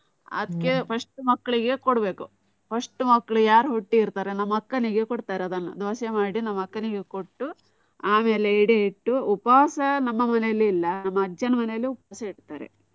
ಅದಕ್ಕೆ first ಮಕ್ಕ್ಳಿಗೆ ಕೋಡ್ಬೇಕು. first ಮಕ್ಕ್ಳು ಯಾರ್ ಹುಟ್ಟಿರ್ತಾರೆ, ನಮ್ಮ ಅಕ್ಕನಿಗೆ ಕೋಡ್ತಾರೆ ಅದನ್ನ. ದೋಸೆ ಮಾಡಿ ನಮ್ಮ ಅಕ್ಕನಿಗೆ ಕೊಟ್ಟು ಆಮೇಲೆ ಎಡೆ ಇಟ್ಟು. ಉಪವಾಸ ನಮ್ಮ ಮನೇಲಿ ಇಲ್ಲ. ನಮ್ಮ ಅಜ್ಜನ ಮನೇಲಿ ಉಪವಾಸ ಇಡ್ತಾರೆ.